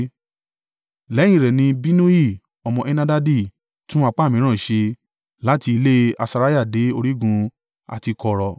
Lẹ́yìn rẹ̀ ni Binnui ọmọ Henadadi tún apá mìíràn ṣe, láti ilé Asariah dé orígun àti kọ̀rọ̀,